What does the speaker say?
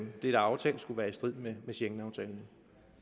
er aftalt skulle være i strid med schengenaftalen